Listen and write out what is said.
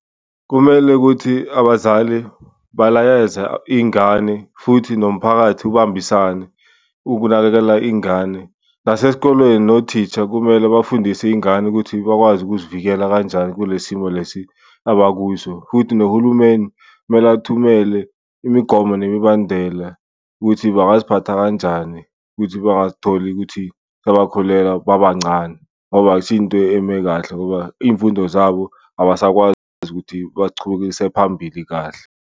Kumele ukuthi abazali balayeza iy'ngane futhi nomphakathi ubambisane ukunakekela ingane, nasesikolweni nothisha kumele bafundise iy'ngane ukuthi bakwazi ukuzivikela kanjani kule simo lesi abakuso. Futhi nohulumeni kumele athumele imigomo nemibandela ukuthi bangaziphatha kanjani ukuthi bangazitholi ukuthi sebakhulelwa babancane, ngoba akusiyo into eme kahle ngoba iyimfundo zabo abasakwazi ukuthi bazichubekise phambili kahle.